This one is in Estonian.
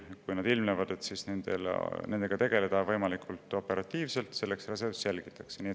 Või et kui nad ilmnevad, siis saaks nendega võimalikult operatiivselt tegeleda.